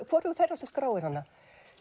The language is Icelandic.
hvorugur þeirra skráir hana